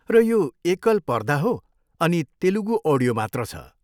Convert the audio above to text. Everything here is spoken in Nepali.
र यो एकल पर्दा हो अनि तेलुगू अडियो मात्र छ।